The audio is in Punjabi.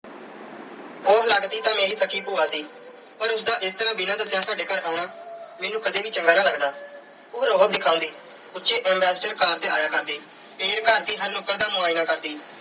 ਉਹ ਲਗਦੀ ਤਾਂ ਮੇਰੀ ਸਕੀ ਭੂਆ ਸੀ ਪਰ ਉਸ ਦਾ ਇਸ ਤਰ੍ਹਾਂ ਬਿਨਾਂ ਦੱਸਿਆਂ ਸਾਡੇ ਘਰ ਆਉਣਾ ਮੈਨੂੰ ਕਦੇ ਵੀ ਚੰਗਾ ਨਾ ਲੱਗਦਾ। ਉਹ ਰੋਅਬ ਦਿਖਾਉਂਦੀ। ਉੱਚੀ ambassadorcar ਤੇ ਆਇਆ ਕਰਦੀ ਤੇ ਘਰ ਦੀ ਹਰ ਨੁੱਕਰ ਦਾ ਮੁਆਇਨਾ ਕਰਦੀ।